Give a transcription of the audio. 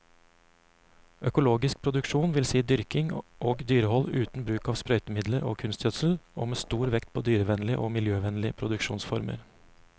Økologisk produksjon vil si dyrking og dyrehold uten bruk av sprøytemidler og kunstgjødsel, og med stor vekt på dyrevennlige og miljøvennlige produksjonsformer.